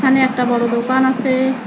এখানে একটা বড় দোকান আসে।